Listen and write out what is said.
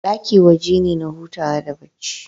Ɗaki waje ne na hutawa da bacci